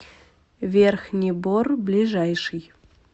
верхний бор ближайший